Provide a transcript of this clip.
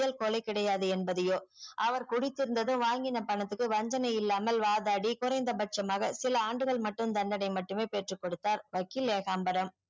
செயல் கொலை கிடையாது என்பதையோ அவர் குடுத்தி இருந்தது வாங்கின பணத்துக்கு வஜ்ஜன இல்லாமல் வாதாடி குறைந்த பட்சமாக சில ஆண்டுகள் மட்டும் தண்டனை மட்டுமே பெற்றுக்கொடுத்தார் வக்கீல் ஏகாம்பரம்